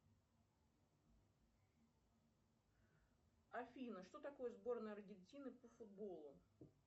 афина что такое сборная аргентины по футболу